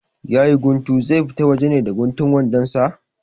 Yayi guntu, zai fita waje ne da guntun wandon sa?